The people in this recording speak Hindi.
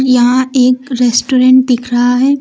यहां एक रेस्टोरेंट दिख रहा है।